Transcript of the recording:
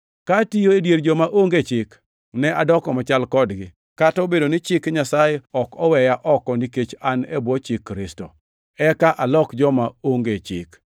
Ka atiyo e dier joma onge chik, ne adoko machal kodgi (kata obedo ni chik Nyasaye ok oweya oko nikech an e bwo chik Kristo), eka alok joma onge chik.